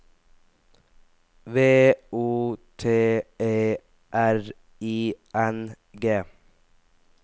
V O T E R I N G